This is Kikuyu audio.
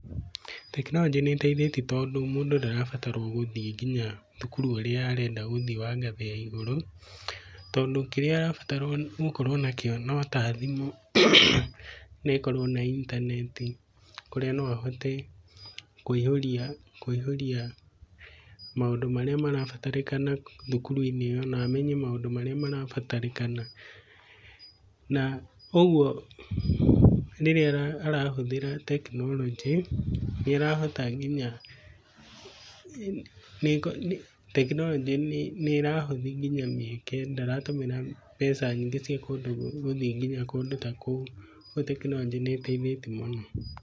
Tekinoronjĩ nĩ ĩteithĩtie tondũ mũndũ ndarabatarũo gũthiĩ nginya thukuru ũrĩa arendwa gũthiĩ wa ngathĩ ya igũrũ, tondũ kĩrĩa arabatara gũkorwo nakĩo no ta thimũ na ĩkorwo na intaneti. Kũrĩa no ahote kũihũria maũndũ marĩa marabatarĩka thukuru-inĩ ĩyo na amenye maũndũ marĩa marabatarĩkana. Na ũguo rĩrĩa arahũthĩra tekinoronjĩ nĩ arohota nginya tekinoronjĩ nĩ ĩrahũthia nginya mĩhĩke ndatũmĩra mbeca nyingĩ cia kũndũ gũthiĩ nginya kũndũ ta kũu. Kwoguo tekinoronjĩ nĩ ĩteithĩtie mũno.